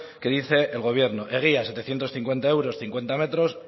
que dice el gobierno egia setecientos cincuenta euros cincuenta metros